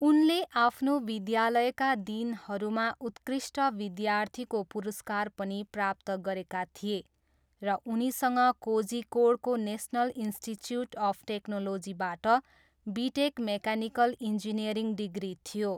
उनले आफ्नो विद्यालयका दिनहरूमा उत्कृष्ट विद्यार्थीको पुरस्कार पनि प्राप्त गरेका थिए र उनीसँग कोझिकोडको नेसनल इन्स्टिच्युट अफ टेक्नोलोजीबाट बिटेक मेकानिकल इन्जिनियरिङ डिग्री थियो।